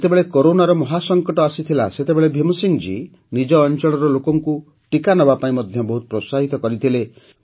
ଯେତେବେଳେ କରୋନାର ମହାସଙ୍କଟ ଆସିଥିଲା ସେତେବେଳେ ଭୀମ ସିଂହ ଜୀ ନିଜ ଅଞ୍ଚଳର ଲୋକଙ୍କୁ ଟିକା ନେବାପାଇଁ ମଧ୍ୟ ବହୁତ ପ୍ରୋତ୍ସାହିତ କରିଥିଲେ